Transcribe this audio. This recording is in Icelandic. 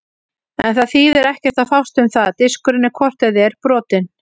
En það þýðir ekkert að fást um það, diskurinn er hvort eð er brotinn.